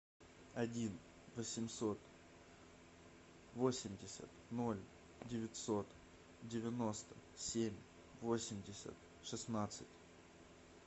один восемьсот восемьдесят ноль девятьсот девяносто семь восемьдесят шестнадцать